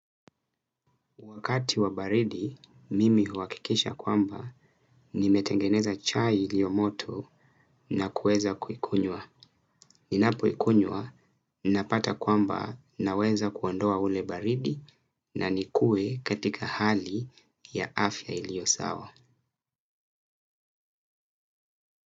Wakati wa baridi, mimi huhakikisha kwamba nimetengeneza chai iliyomoto na kueza kuikunywa. Ninapoikunywa, napata kwamba naweza kuondoa ule baridi na nikue katika hali ya afya iliyo sawa.